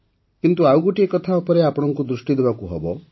କିନ୍ତୁ ଆଉ ଗୋଟିଏ କଥା ଉପରେ ଆପଣଙ୍କୁ ଦୃଷ୍ଟି ଦେବାକୁ ହେବ